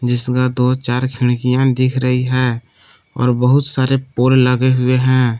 जिसका दो चार खिड़कियां दिख रही हैं और बहुत सारे पोल लगे हुए हैं।